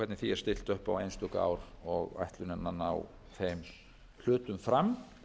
hvernig því er stillt upp á einstök ár og hvernig ætlunin er að ná þeim hlutum fram